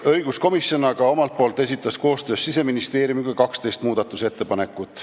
Õiguskomisjon aga esitas koostöös Siseministeeriumiga 12 muudatusettepanekut.